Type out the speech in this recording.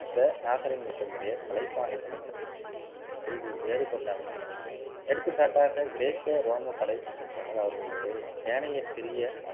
இந்த நாகரிகம் என்ற முறையை கலைப்பாணிகளின் கல்வி வேறுபட்டு அமைக்கின்றன. எடுத்துக்காட்டாக கிரேக்க ரோம புடைப்புச் சிற்பங்கள் அவர்களுடைய ஏனைய சிறிய